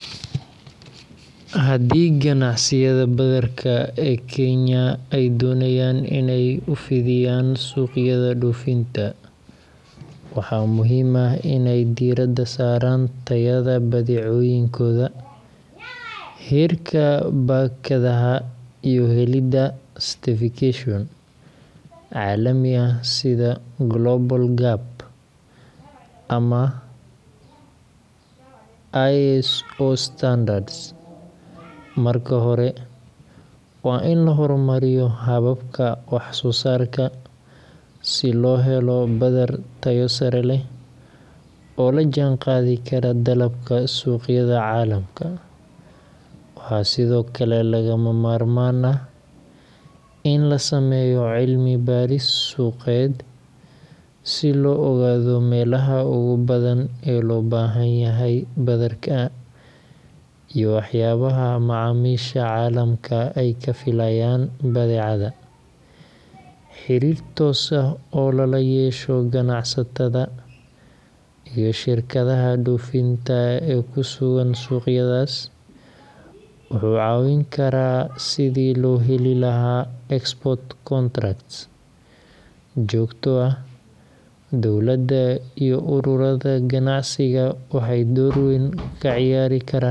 Haddii ganacsiyada badarka ee Kenya ay doonayaan inay u fidiyaan suuqyada dhoofinta, waxaa muhiim ah inay diiradda saaraan tayada badeecooyinkooda, heerka baakadaha, iyo helidda certification caalami ah sida Global GAP ama ISO standards. Marka hore, waa in la horumariyo hababka wax-soo-saarka si loo helo badar tayo sare leh oo la jaanqaadi kara dalabka suuqyada caalamka. Waxaa sidoo kale lagama maarmaan ah in la sameeyo cilmi-baaris suuqeed si loo ogaado meelaha ugu badan ee loo baahan yahay badarka iyo waxyaabaha macaamiisha caalamka ay ka filayaan badeecada. Xiriir toos ah oo lala yeesho ganacsatada iyo shirkadaha dhoofinta ee ku sugan suuqyadaas wuxuu caawin karaa sidii loo heli lahaa export contracts joogto ah